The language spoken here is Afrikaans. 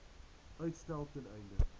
uitstel ten einde